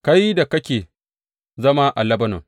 Kai da kake zama a Lebanon,’